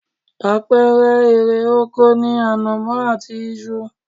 Àpẹẹrẹ erè oko ni ànàmọ́ àti iṣu